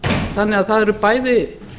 þannig að það eru bæði